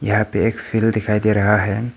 यहां पे एक फील्ड दिखाई दे रहा हैं।